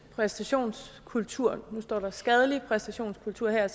præstationskultur der står skadelig præstationskultur her i